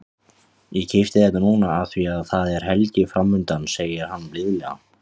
Ég keypti þetta núna af því að það er helgi framundan, segir hann blíðlega.